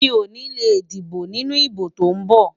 Mi ò ní lè dìbò nínú ìbò tó ń bọ̀.